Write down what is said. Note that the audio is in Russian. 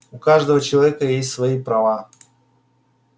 у каждого человека есть свои права